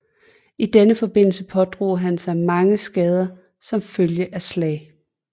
I denne forbindelse pådrog han sig mange skader som følge af slag